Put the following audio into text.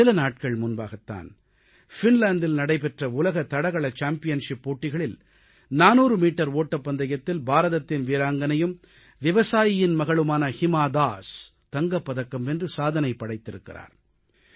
சில நாட்கள் முன்பாகத்தான் ஃபின்லாந்தில் நடைபெற்ற உலக தடகள சாம்பியன்ஷிப் போட்டிகளில் 400 மீட்டர் ஓட்டப்பந்தயத்தில் பாரதத்தின் வீராங்கனையும் விவசாயியின் மகளுமான ஹிமா தாஸ் தங்கப் பதக்கம் வென்று சாதனை படைத்திருக்கிறார்